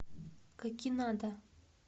какинада